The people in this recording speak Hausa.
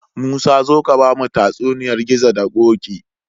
Musa zo ka bamu tatsuniyar gizo da koki